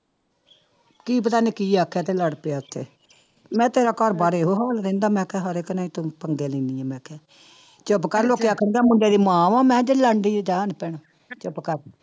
ਕੀ ਪਤਾ ਨੀ ਕੀ ਆਖਿਆ ਤੇ ਲੜ ਪਿਆ ਉੱਥੇ, ਮੈਂ ਤੇਰਾ ਘਰ ਬਾਰ ਇਹੋ ਹਾਲ ਰਹਿੰਦਾ ਮੈਂ ਕਿਹਾ ਹਰ ਇੱਕ ਨਾਲ ਹੀ ਤੂੰ ਪੰਗੇ ਲੈਂਦੀ ਹੈ ਮੈਂ ਕਿਹਾ, ਚੁੱਪ ਕਰ ਲੋਕੀ ਆਖਣਗੇ ਮੁੰਡੇ ਦੀ ਮਾਂ ਵਾਂ ਮੈਂ ਕਿਹਾ ਜਿਹੜੀ ਲੜਦੀ ਹੈ ਜਾਂ ਨੀ ਭੈਣੇ ਚੁੱਪ ਕਰ।